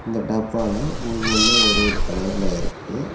இந்த டப்பாலா ஒவ்வொன்னு ஒரு ஒரு கலர்ல இருக்கு.